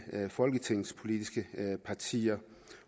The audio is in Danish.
folketingets politiske partier